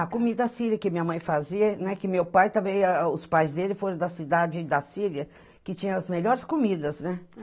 A comida síria que minha mãe fazia, né, que meu pai também, a a o os pais dele foram da cidade da Síria, que tinha as melhores comidas, né?